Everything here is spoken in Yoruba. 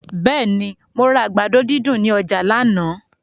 Bẹ́ẹ̀ni, mo ra àgbàdo dídùn ní ọjà lánàá.